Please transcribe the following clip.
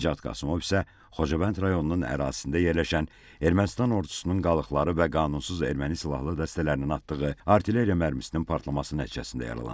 Nicat Qasımov isə Xocavənd rayonunun ərazisində yerləşən Ermənistan ordusunun qalıqları və qanunsuz erməni silahlı dəstələrinin atdığı artilleriya mərmisinin partlaması nəticəsində yaralanıb.